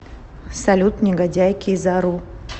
салют негодяй кизару